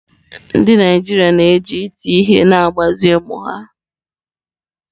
Ndị Naijiria na-eji iti ihe na-agbazi ụmụ ha